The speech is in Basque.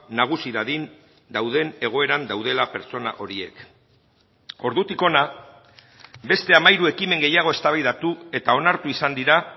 nagusi dadin dauden egoeran daudela pertsona horiek ordutik hona beste hamairu ekimen gehiago eztabaidatu eta onartu izan dira